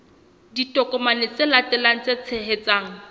ditokomane tse latelang tse tshehetsang